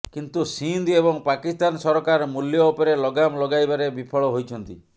କିନ୍ତୁ ସିନ୍ଧ ଏବଂ ପାକିସ୍ତାନ ସରକାର ମୂଲ୍ୟ ଉପରେ ଲଗାମ ଲଗାଇବାରେ ବିଫଳ ହୋଇଛନ୍ତି